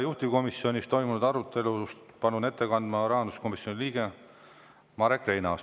Juhtivkomisjonis toimunud arutelust palun ette kandma rahanduskomisjoni liikme Marek Reinaasa.